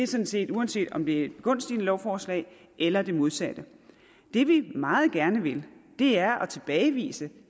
sådan set uanset om det er et begunstigende lovforslag eller det modsatte det vi meget gerne vil er at tilbagevise